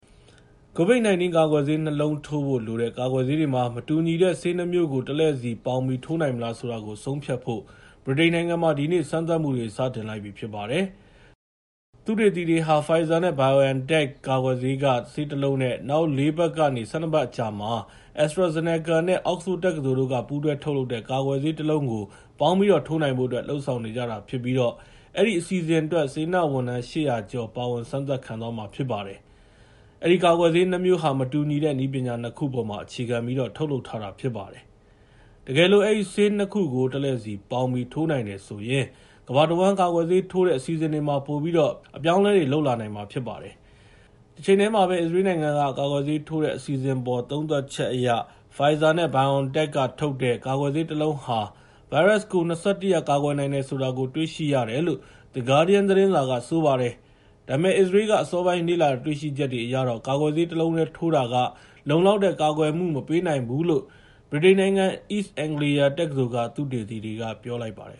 ကိုဗစ်ကာကွယ်ဆေး ၂ လုံးထိုးဖို့လိုတဲ့ ကာကွယ်ဆေးတွေမှာ မတူညီတဲ့ဆေး ၂ မျိုးကို တလှည့်စီ ပေါင်းပြီး ထိုးနိုင်မလားဆိုတာကို ဆုံးဖြတ်ဖို့ ဗြိတိန်နိုင်ငံမှာ ဒီနေ့ စမ်းသပ်မှုတွေ စတင်လိုက်ပြီဖြစ်ပါတယ်။ သုတေသီတွေဟာ Pfizer-BioNTech ကာကွယ်ဆေးက ဆေးတလုံးနဲ့ နောက် ၄ ပတ်ကနေ ၁၂ ပတ်အကြာမှာ AstraZeneca နဲ့ Oxford တက္ကသိုလ်တို့ ပူးတွဲထုတ်လုပ်တဲ့ ကာကွယ်ဆေးတလုံးကို ပေါင်းပြီးထိုးနိုင်ဖို့အတွက် လုပ်ဆောင်နေကြတာဖြစ်ပြီး အဲဒီအစီအစဉ်အတွက် စေတနာ့ဝန်ထမ်း ၈၀၀ ကျော် ပါဝင်စမ်းသပ်ခံသွားမှာဖြစ်ပါတယ်။ အဲဒီကာကွယ်ဆေး ၂ မျိုးဟာ မတူညီတဲ့ နည်းပညာ ၂ ခုအပေါ်မှာ အခြေခံပြီးတော့ ထုတ်လုပ်ထားတာဖြစ်ပါတယ်။ တကယ်လို့ အဲဒီဆေး ၂ ခုကို တလှည့်စီပေါင်းပြီး ထိုးနိုင်တယ်ဆိုရင် ကမ္ဘာတဝန်း ကာကွယ်ဆေးထိုးတဲ့အစီအစဉ်တွေမှာ ပိုပြီးတော့ ပြောင်းလွယ်ပြင်လွယ်နဲ့ အပြောင်းအလဲတွေ လုပ်လာနိုင်မှာဖြစ်ပါတယ်။ တချိန်တည်းမှာပဲ အစ္စရေးလ်နိုင်ငံမှာ ကာကွယ်ဆေးထိုးတဲ့အစီအစဉ်အပေါ် သုံးသပ်ချက်အရ Pfizer နဲ့ BioNTech ကထုတ်တဲ့ ကာကွယ်ဆေးတလုံးဟာ ဗိုင်းရပ်စ်ကို ၂၁ ရက် ကာကွယ်နိုင်တယ်ဆိုတာ တွေ့ရှိရတယ်လို့ The Guardian သတင်းစာက ဆိုပါတယ်။ ဒါပေမဲ့ အစ္စရေးလ်က အစောပိုင်းလေ့လာတွေ့ရှိချက်တွေအရတော့ ကာကွယ်ဆေးတလုံးတည်းထိုးတာက လုံလောက်တဲ့ ကာကွယ်မှု မပေးနိုင်ဘူးလို့ ဗြိတိန်နိုင်ငံ East Anglia တက္ကသိုလ်က သုတေသီတွေက ပြောလိုက်ပါတယ်